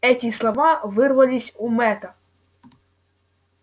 эти слова вырвались у мэтта